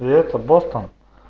это бостон